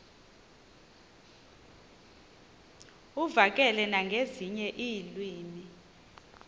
uvakale nangezinye iilwimi